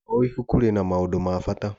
O ibuku rĩna maũndũ ma bata.